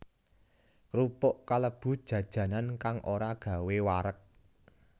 Krupuk kalebu jajanan kang ora gawé wareg